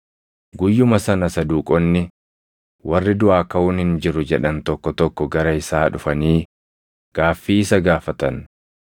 Guyyuma sana Saduuqonni warri duʼaa kaʼuun hin jiru jedhan tokko tokko gara isaa dhufanii gaaffii isa gaafatan.